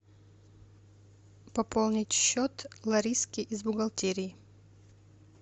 пополнить счет лариски из бухгалтерии